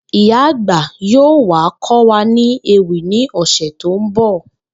Ìyá àgbà yóò wá kó̩ wa ni ewì ní ò̩sè̩ tó ń bò